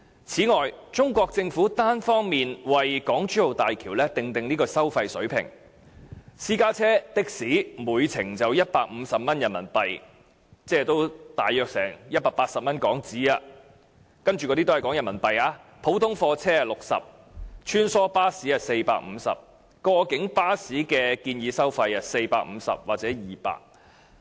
此外，中國政府單方面為港珠澳大橋訂定收費水平，分別是私家車和的士每程收費150元人民幣——我以下說的收費全部以人民幣計算——普通貨車60元、穿梭巴士450元，過境巴士則建議收費450元或200元。